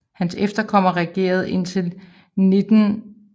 Hans efterkommere regerede indtil 1199 som grever af Ratzeburg